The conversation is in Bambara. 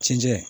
Cɛncɛn